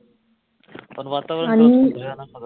पण वातावरण